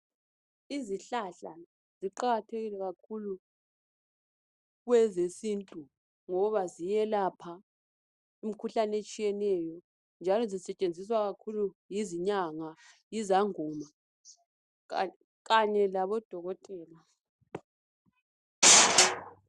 Izihlahla ziqakathekile kakhulu kwezesintu ngoba ziyelapha imkhuhlane etshiyeneyo njalo ezisetshenziswa kakhulu yizinyanga, izangoma kanye labodokotela